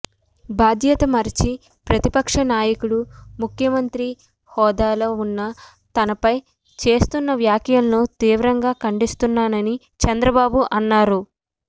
బాధ్యత మరచిన ప్రతిపక్ష నాయకుడు ముఖ్యమంత్రి హోదాలో ఉన్న తనపై చేస్తున్న వ్యాఖ్యలను తీవ్రంగా ఖండిస్తున్నానని చంద్రబాబు అన్నారు